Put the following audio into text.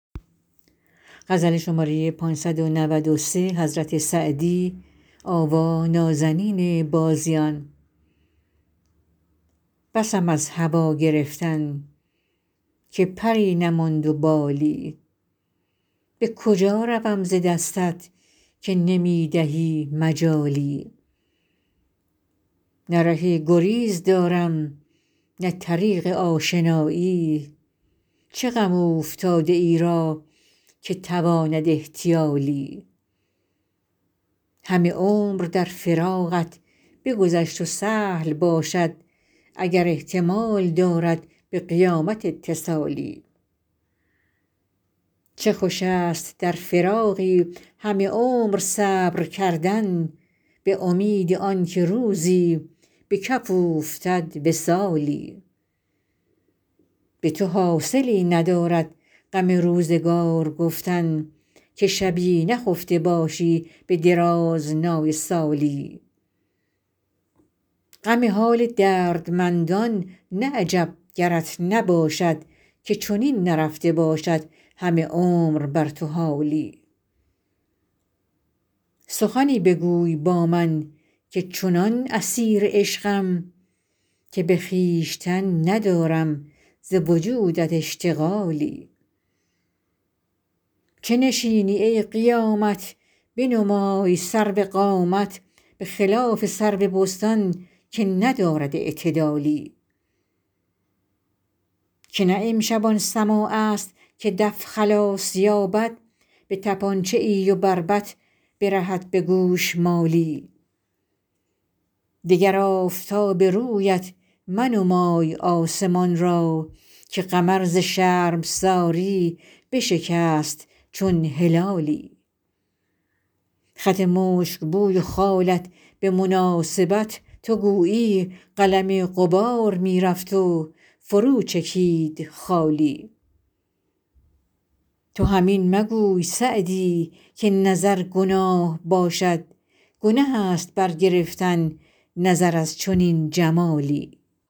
بسم از هوا گرفتن که پری نماند و بالی به کجا روم ز دستت که نمی دهی مجالی نه ره گریز دارم نه طریق آشنایی چه غم اوفتاده ای را که تواند احتیالی همه عمر در فراقت بگذشت و سهل باشد اگر احتمال دارد به قیامت اتصالی چه خوش است در فراقی همه عمر صبر کردن به امید آن که روزی به کف اوفتد وصالی به تو حاصلی ندارد غم روزگار گفتن که شبی نخفته باشی به درازنای سالی غم حال دردمندان نه عجب گرت نباشد که چنین نرفته باشد همه عمر بر تو حالی سخنی بگوی با من که چنان اسیر عشقم که به خویشتن ندارم ز وجودت اشتغالی چه نشینی ای قیامت بنمای سرو قامت به خلاف سرو بستان که ندارد اعتدالی که نه امشب آن سماع است که دف خلاص یابد به طپانچه ای و بربط برهد به گوشمالی دگر آفتاب رویت منمای آسمان را که قمر ز شرمساری بشکست چون هلالی خط مشک بوی و خالت به مناسبت تو گویی قلم غبار می رفت و فرو چکید خالی تو هم این مگوی سعدی که نظر گناه باشد گنه است برگرفتن نظر از چنین جمالی